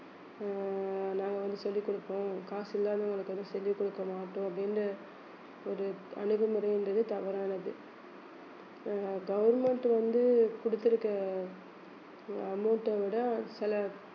அஹ் நாங்க வந்து சொல்லிக் கொடுப்போம் காசு இல்லாதவங்களுக்கு வந்து சொல்லிக் கொடுக்க மாட்டோம் அப்படின்னு ஒரு அணுகுமுறைங்கிறது தவறானது அஹ் government வந்து கொடுத்திருக்க amount அ விட சில